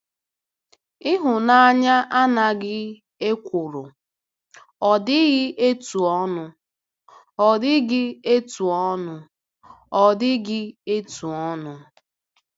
Ịhụnanya anaghị ekworo, ọ dịghị etu ọnụ, ọ dịghị etu ọnụ." dịghị etu ọnụ."